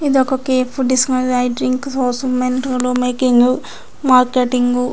ఇది వక cafe and making and marketing --